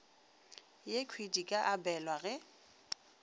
yekhwi di ka abelwa ge